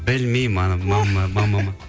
білмеймін анам